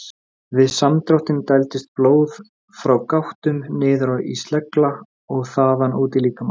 Hann átti í áralöngum deilum um danska stafsetningu sem ekki verða raktar hér.